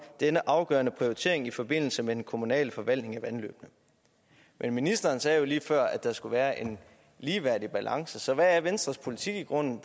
denne afgørende prioritering i forbindelse med den kommunale forvaltning af vandløbene men ministeren sagde jo lige før at der skulle være en ligeværdig balance så hvad er venstres politik i grunden